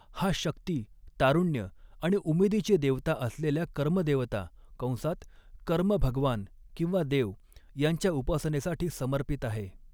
हा शक्ती, तारुण्य आणि उमेदीचे देवता असलेल्या कर्म देवता कंसात कर्म भगवान किंवा देव यांच्या उपासनेसाठी समर्पित आहे.